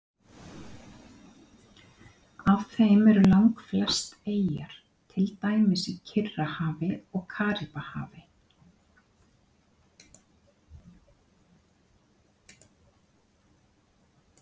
Af þeim eru langflest eyjar, til dæmis í Kyrrahafi og Karíbahafi.